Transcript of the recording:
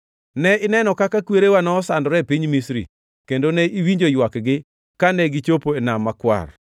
“Ne ineno kaka kwerewa nosandore e piny Misri; kendo ne iwinjo ywakgi kane gichopo e Nam Makwar.